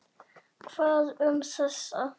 Hvað um þessa?